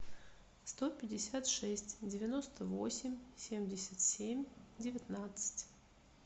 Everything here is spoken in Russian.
сто пятьдесят шесть девяносто восемь семьдесят семь девятнадцать